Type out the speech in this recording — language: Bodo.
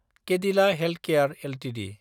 Cadila healthcare Ltd